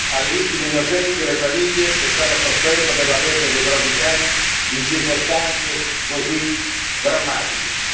alle vittime innocenti e alle famiglie che stanno soffrendo per la perdita dei propri cari in circostanze così drammatiche.